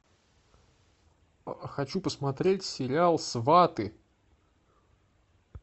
хочу посмотреть сериал сваты